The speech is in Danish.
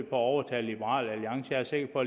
at overtale liberal alliance jeg er sikker på